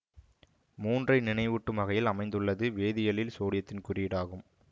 மூன்றை நினைவூட்டும் வகையில் அமைந்துள்ளது வேதியியலில் சோடியத்தின் குறியீடு ஆகும்